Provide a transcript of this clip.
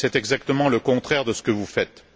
c'est exactement le contraire de ce que vous faites.